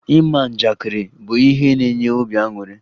Ịma njakịrị bụ ihe na-enye obi aṅụrụ